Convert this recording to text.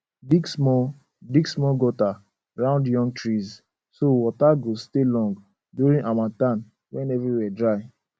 dig small dig small gutter round young trees so water go stay long during harmattan when everywhere dry